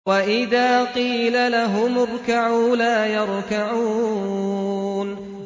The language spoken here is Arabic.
وَإِذَا قِيلَ لَهُمُ ارْكَعُوا لَا يَرْكَعُونَ